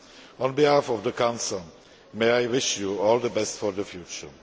On behalf of the Council, may I wish you all the best for the future.